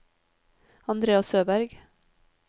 Andrea Søberg